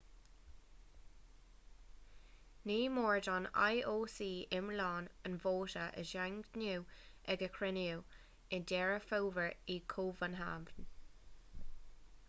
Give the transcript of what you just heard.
ní mór don ioc iomlán an vóta a dhaingniú ag a chruinniú i ndeireadh fómhair i gcóbanhávn